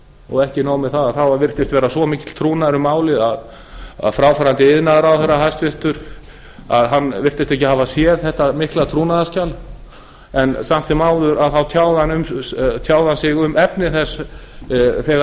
og ekki nóg með það það virtist vera svo mikill trúnaður um málið að fráfarandi hæstvirtur iðnaðarráðherra virtist ekki hafa séð þetta mikla trúnaðarskjal en samt sem áður tjáði hann sig um efni þess þegar